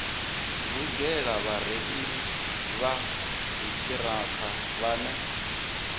lugela vhareili vha dziṱhirakha vhane